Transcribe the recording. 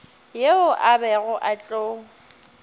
yeo a bego a tlo